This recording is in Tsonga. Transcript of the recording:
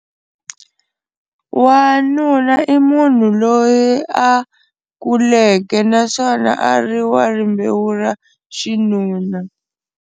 Wanuna i munhu loyi a kuleke naswona a ri wa rimbewu ra xinuna.